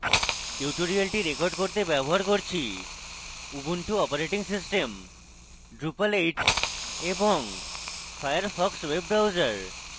tutorial record করতে ব্যবহার করছি: উবুন্টু অপারেটিং সিস্টেম drupal 8 এবং ফায়ারফক্স ওয়েব ব্রাউজার